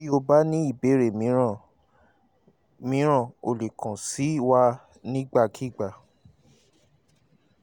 bí o bá ní ìbéèrè míràn míràn o lè kàn sí wa nígbàkigbà